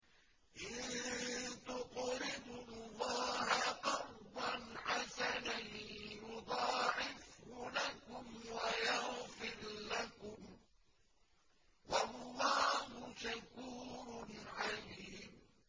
إِن تُقْرِضُوا اللَّهَ قَرْضًا حَسَنًا يُضَاعِفْهُ لَكُمْ وَيَغْفِرْ لَكُمْ ۚ وَاللَّهُ شَكُورٌ حَلِيمٌ